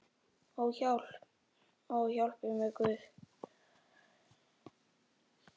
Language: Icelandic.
Ó, hjálpi mér Guð!